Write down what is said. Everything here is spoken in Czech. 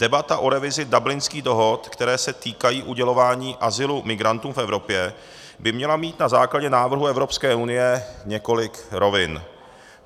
Debata o revizi Dublinských dohod, které se týkají udělování azylu migrantům v Evropě, by měla mít na základě návrhu Evropské unie několik rovin.